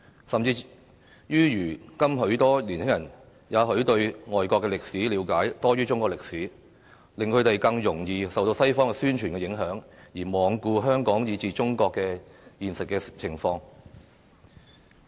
更甚者，如今許多年輕人也許對外國歷史了解多於中國歷史，令他們更容易受到西方宣傳的影響，而罔顧香港以至中國的現實情況。